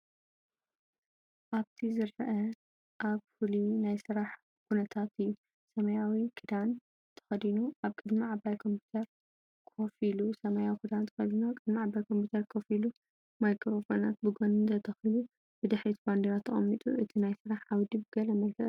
ኣብቲ ዝረአ ኣብ ፍሉይ ናይ ስራሕ ኵነታት እዩ። ሰማያዊ ክዳን ተኸዲኑ፡ ኣብ ቅድሚ ዓባይ ኮምፒተር ኮፍ ኢሉ። ማይክሮፎናት ብጎኒ ተተኺሉ፡ ብድሕሪት ባንዴራ ተቐሚጡ። እቲ ናይ ስራሕ ዓውዲ ብገለ መልክዕ ይርአ።